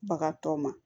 Bagatɔ ma